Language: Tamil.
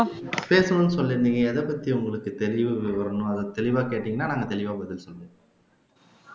பேசணும்னு சொல்லிருந்தீங்க எதைப்பத்தி உங்களுக்கு தெளிவு வரணும் அதை தெளிவா கேட்டீங்கன்னா நாங்க தெளிவா பதில் சொல்லுவோம்